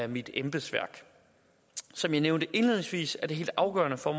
mit embedsværk som jeg nævnte indledningsvis er det helt afgørende for